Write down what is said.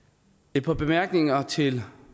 et par bemærkninger til